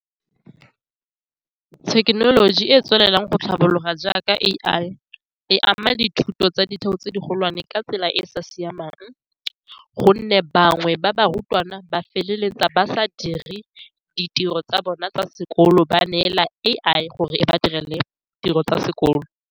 Thekenoloji e e tswelelang go tlhabologa jaaka A_I e ama dithuto tsa ditheo tse di golwane ka tsela e e sa siamang, ka gonne bangwe ba barutwana ba feleletsa ba sa dire ditiro tsa bona tsa sekolo, ba neela A_I gore e ba direle tiro tsa sekolo.